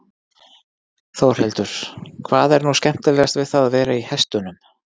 Þórhildur: Hvað er nú skemmtilegast við að vera í hestunum?